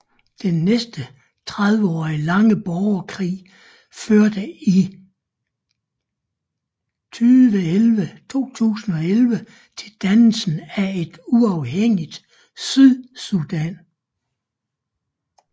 Den næsten 30 år lange borgerkrig førte i 2011 til dannelsen af et uafhængigt Sydsudan